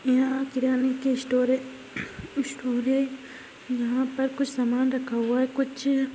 यह किराने की स्टोर है स्टोर है यहा पर कुछ सामान रखा हुआ है कुछ --